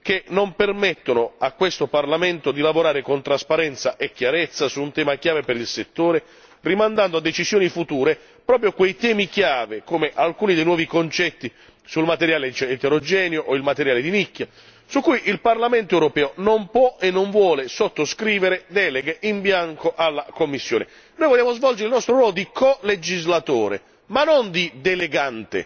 che non permettono a questo Parlamento di lavorare con trasparenza e chiarezza su un tema chiave per il settore, rimandando a decisioni future proprio quei temi chiave come alcuni dei nuovi concetti sul materiale eterogeneo o il materiale di nicchia su cui il Parlamento europeo non può e non vuole sottoscrivere deleghe in bianco alla Commissione. Noi vogliamo svolgere il nostro ruolo di colegislatore, ma non di delegante.